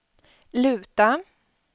luta